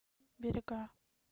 берега